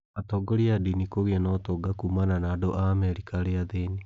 Atongoria a ndini kũgia na ũtonga kumana na andũ a Amerika arĩa athĩni.